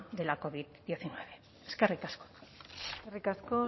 de la covid hemeretzi eskerrik asko eskerrik asko